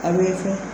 A bɛ fɛn